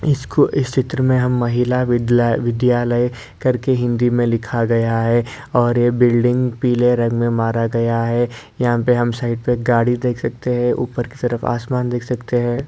इसको इस चित्र में हम महिला बदलय विद्यालय करके हिंदी मे लिखा गया है और यह बिल्डिंग पीले रंग मे मारा गया है। यहाँ पे हम साइड पे गाड़ी देख सकते है। ऊपर की तरफ आसमान देख सकते है।